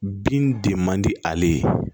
Bin de man di ale ye